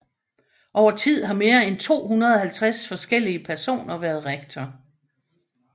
Over tid har mere end 250 forskellige personer været rektor